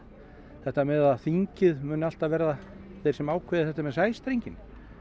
þetta með að þingið muni alltaf verða þeir sem ákveði þetta með sæstrenginn